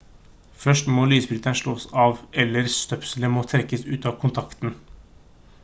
først må lysbryteren slås av eller støpselet må trekkes ut av kontakten